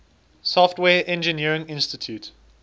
software engineering institute